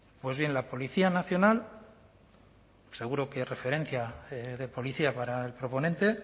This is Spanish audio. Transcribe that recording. pues bien la policía nacional seguro que es referencia de policía para el proponente